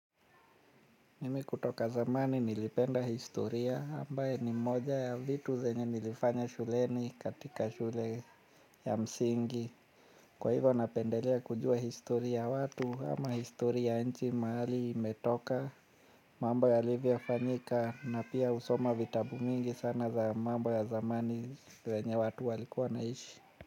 Mimi kutoka zamani nilipenda historia ambaye ni mmoja ya vitu zenye nilifanya shuleni katika shule ya msingi kwa hivyo napendelea kujua historia ya watu ama historia ya nchi mahali imetoka. Mambo yalivyofanyika na pia husoma vitabu mingi sana za mambo ya zamani vyenye watu walikuwa wanaishi.